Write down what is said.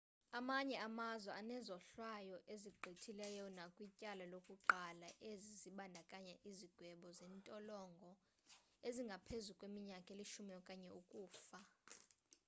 amanye amazwe anezohlwayo ezigqithileyo nakwityala lokuqala ezi zibandakanya izigwebo zentolongo ezingaphezu kweminyaka elishumi okanye ukufa